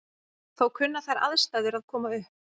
Þó kunna þær aðstæður að koma upp.